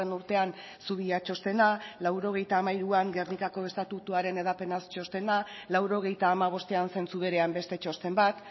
urtean zubia txostena laurogeita hamairuan gernikako estatutuaren hedapenaz txostena laurogeita hamabostean zentzu berean beste txosten bat